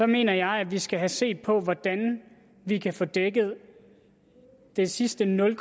mener jeg vi skal have set på hvordan vi kan få dækket den sidste nul